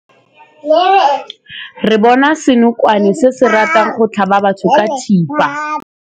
Re bone senokwane se se ratang go tlhaba batho ka thipa.